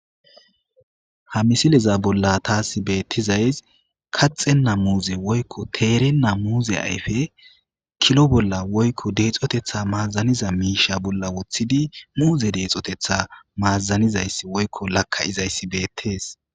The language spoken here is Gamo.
Ha misileza bolla taasi beetizayssi kaxxenna muuze woykko teerenna muuze ayfe kilo bolla woyko deexotetha mazaniza miishsha bolla woththidi muuze deexoteththi mazanizayssi woyko laka7izsyssi beetes.